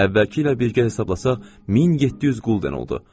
Əvvəlki ilə birgə hesablasaq 1700 qulden oldu.